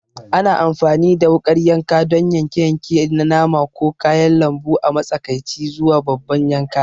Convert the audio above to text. Ana amfani da wukar yanka don yanke-yanke na nama ko kayan lambu a matsakaici zuwa babban yanka.